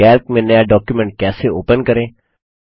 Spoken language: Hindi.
कैल्क में नया डॉक्युमेंट कैसे ओपन करें